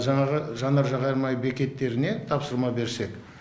жаңағы жанар жағармай бекеттеріне тапсырма берсек